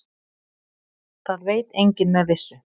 Það veit enginn með vissu.